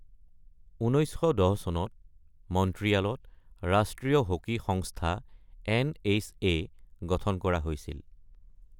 ১৯১০ চনত মন্ট্ৰিয়ালত ৰাষ্ট্ৰীয় হকী সংস্থা (এন.এইচ.এ.) গঠন কৰা হৈছিল।